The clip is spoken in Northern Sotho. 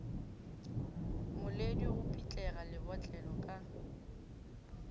moledi go pitlega lebotlelo ka